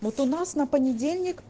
вот у нас на понедельник